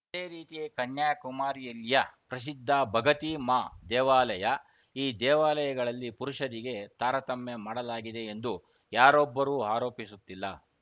ಅದೇ ರೀತಿ ಕನ್ಯಾಕುಮಾರಿಯಲ್ಲಿಯ ಪ್ರಸಿದ್ಧ ಭಗತಿ ಮಾ ದೇವಾಲಯ ಈ ದೇವಾಲಯಗಳಲ್ಲಿ ಪುರುಷರಿಗೆ ತಾರತಮ್ಯ ಮಾಡಲಾಗಿದೆ ಎಂದು ಯಾರೊಬ್ಬರೂ ಆರೋಪಿಸುತ್ತಿಲ್ಲ